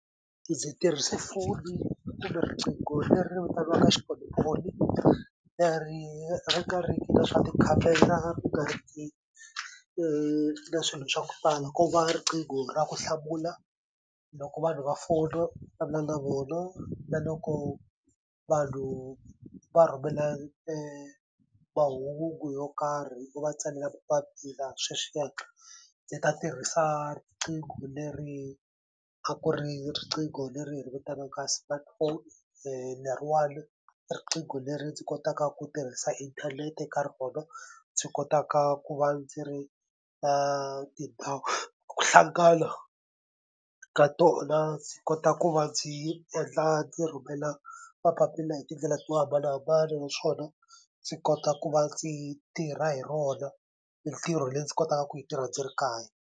Ndzi tirhise foni kumbe riqingho leri vitaniwaka xipolipoli leri ri nga riki na swa tikhamera ri nga ri ki na swilo swa ku tala ko va riqingho ra ku hlamula loko vanhu va fona vulavula na vona na loko vanhu va rhumela mahungu yo karhi hi ku va tsalela papila sweswiyani ni ta tirhisa riqingho leri a ku ri riqingho leri hi ri vitanaka smartphone leriwani riqingho leri ndzi kotaka ku tirhisa inthanete ka rona ndzi kotaka ku va ndzi ri tindhawu ku hlangana ka tona ndzi kota ku va ndzi endla ndzi rhumela mapapila hi tindlela to hambanahambana naswona ndzi kota ku va ndzi tirha hi rona mintirho leyi ndzi kotaka ku yi tirha ndzi ri kaya.